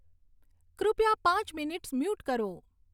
કૃપયા પાંચ minutes mute કરો